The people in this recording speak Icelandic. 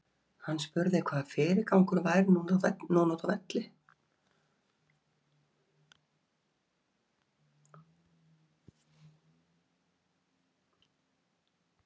Hann spurði hvaða fyrirgangur væri núna útá velli.